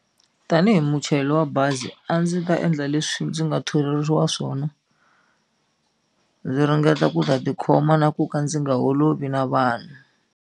Tanihi muchayeri wa bazi a ndzi ta endla leswi ndzi nga tholeriwa swona ndzi ringeta ku ta ti khoma na ku ka ndzi nga holovi na vanhu.